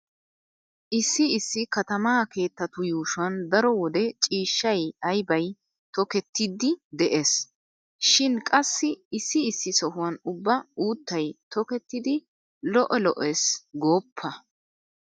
Issi issi katamaa keettatu yuushuwan daro wode ciishshay aybay tokettidi de'ees. Shin qassi issi issi sohan ubba uuttay tokettidi lo'o lo'ees gooppa.